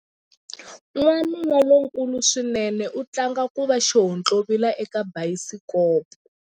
Wanuna lonkulu swinene u tlanga ku va xihontlovila eka bayisikopo.